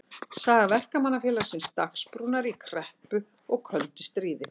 Saga Verkamannafélagsins Dagsbrúnar í kreppu og köldu stríði.